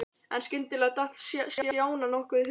En skyndilega datt Stjána nokkuð í hug.